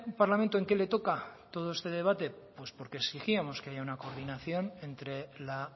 parlamento en qué le toca todo este debate pues porque exigíamos que haya una coordinación entre la